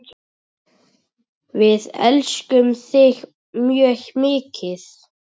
Við elskum þig mjög mikið.